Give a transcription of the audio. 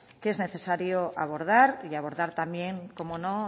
que es necesario abordar y de abordar también cómo no